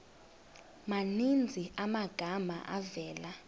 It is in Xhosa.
maninzi amagama avela